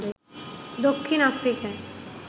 দক্ষিণ আফ্রিকায়